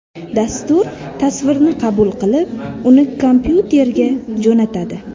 Dastur tasvirni qabul qilib, uni kompyuterga jo‘natadi.